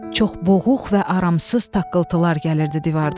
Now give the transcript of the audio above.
Çox boğuq və aramsız taqqıltılar gəlirdi divardan.